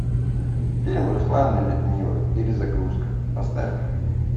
фильм руслан и людмила перезагрузка поставь ка